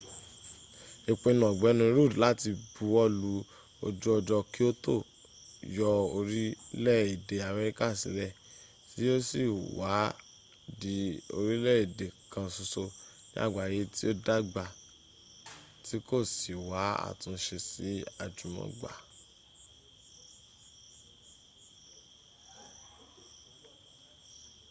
ìpinnú ọ̀gbẹ́ni rudd láti buwọ́lú ojú ọjọ́ kyoto yọ orílẹ̀ èdè amẹríka sílẹ̀ tí yóò sì wá di orílẹ́ èdè kan ṣoṣo ní àgbáyé tí ó dàgbà tí kò sì wá́ àtúnṣe sí àjùmọ̀gbà